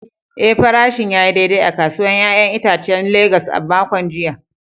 Eh, farashin ya yi daidai a kasuwar ‘ya’yan itacen Legas a makon jiya.